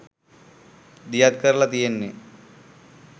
දියත් කරලා තියෙන්නේ.